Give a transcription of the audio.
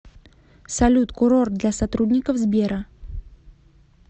салют курорт для сотрудников сбера